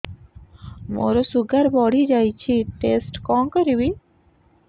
ମୋର ଶୁଗାର ବଢିଯାଇଛି ଟେଷ୍ଟ କଣ କରିବି